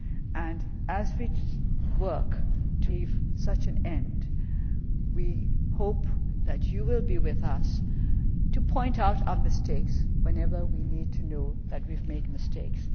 to come. And as we work to achieve such an end, we hope that you will be with us to point out our mistakes whenever we need to know that we have made mistakes